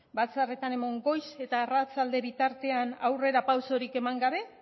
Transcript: batzarretan eman goiz eta arratsalde bitartean aurrera pausurik eman gabe